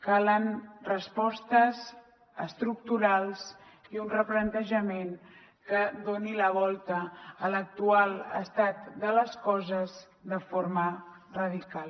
calen respostes estructurals i un replantejament que doni la volta a l’actual estat de les coses de forma radical